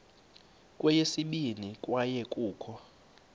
kweyesibini kwaye kukho